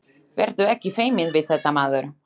Vertu ekki feiminn við þetta, maður!